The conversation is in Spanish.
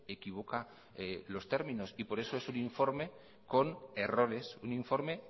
equivoca los términos y por eso es un informe con errores un informe